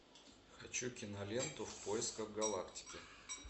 хочу киноленту в поисках галактики